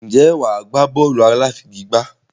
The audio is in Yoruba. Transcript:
Ǹjẹ́ wà á gbá bọ́ọ̀lù aláfigigbá?